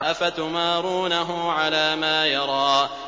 أَفَتُمَارُونَهُ عَلَىٰ مَا يَرَىٰ